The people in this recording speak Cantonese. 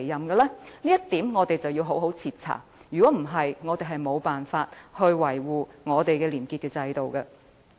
這一點我們必須好好徹查，否則將無法維護本港的廉潔制度。